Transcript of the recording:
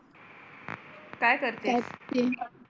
काय करती